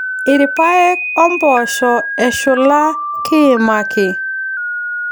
Irpaek o mpoosho eshula kiimaki.